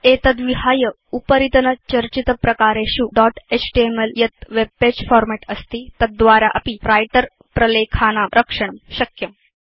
एतद्विहाय उपरितनचर्चितप्रकारेषु dot HTML यत् वेब पगे फॉर्मेट् अस्ति तद्द्वारा अपि व्रिटर प्रलेखानां रक्षणं शक्यम्